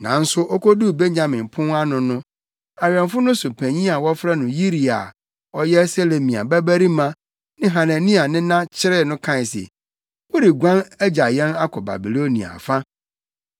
Nanso okoduu Benyamin Pon ano no, awɛmfo no so panyin a wɔfrɛ no Yiria a ɔyɛ Selemia babarima ne Hanania nena kyeree no kae se, “Woreguan agya yɛn akɔ Babiloniafo afa!”